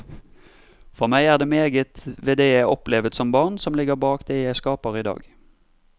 For meg er det meget ved det jeg opplevet som barn, som ligger bak det jeg skaper i dag.